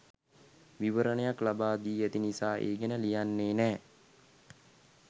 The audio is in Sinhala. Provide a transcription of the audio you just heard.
විවරණයක් ලබා දී ඇති නිසා ඒ ගැන ලියන්නේ නෑ.